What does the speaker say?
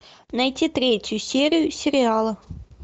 найти третью серию сериала